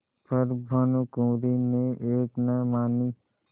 पर भानुकुँवरि ने एक न मानी